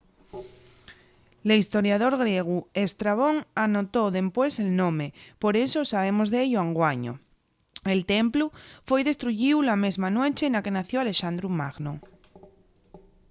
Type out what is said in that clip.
l'hestoriador griegu estrabón anotó dempués el nome por eso sabemos d'ello anguaño el templu foi destruyíu la mesma nueche na que nació alexandru magno